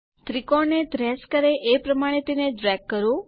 ત્રિકોણ ને ટ્રેસ કરે એ પ્રમાણે તેને ડ્રેગ કરો